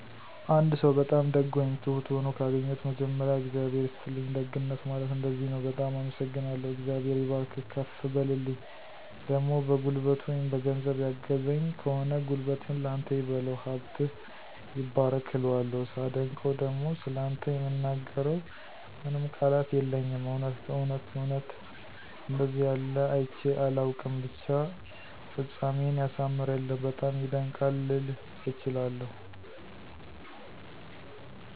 አንድ ሰው በጣም ደግ ወይም ትሁት ሆኖ ካገኘሁት መጀመሪያ “እግዚአብሔር ይስጥልኝ፣ ደግነት ማለት እንደዚህ ነው፤ በጣም አመሰግናለሁ፣ እግዚአብሔር ይባርክህ፤ ከፍ በልልኝ“ ፣ደሞ በጉልበቱ ወይም በገንዘብ ያገዘኝ ከሆነ “ጉልበትህን ላንተ ይበለው፣ ሀብትህ ይባረክ “ እለዋለሁ። ሳደንቀው ደሞ “ስላንተ የምናገረው ምንም ቃላት የለኝም እውነት እውነት እውነት አንደዚህ ያለ አይቸ አላውቅም ብቻ ፍጻሜህን ያሳምርልህ፤ በጣም ይደንቃል! “ልል እችላለሁ።